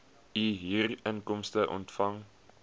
u huurinkomste ontvang